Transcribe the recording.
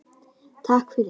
Takk fyrir.